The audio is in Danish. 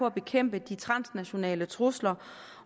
at bekæmpe de transnationale trusler